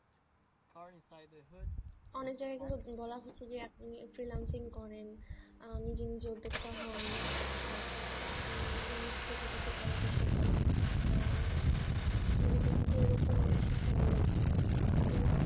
অনেক জায়গায় কিন্তু বলা হচ্ছে যে আপনি freelancing করেন আর নিজে নিজে উদ্যোক্তা হন তারপর আপনি নিজে থেকে কিছু করার চেষ্টা করেন আহ টিবি তে কিন্তু এরকম অনেক শিক্ষা মূলক হম